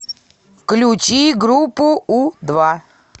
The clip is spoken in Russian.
включи группу у два